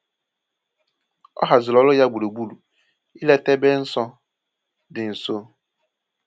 O haziri ọrụ ya gburugburu ileta ebe nsọ dị nso.